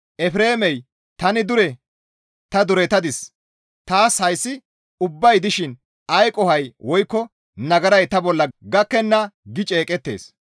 Efreemey, ‹Tani dure; ta duretadis; taas hayssi ubbay dishin ay qohoykka woykko nagaray ta bolla gakkenna› gi ceeqettees.